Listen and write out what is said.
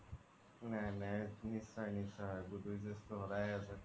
নিশ্চয় নিশ্চয় good wishes তো স্দায় আছে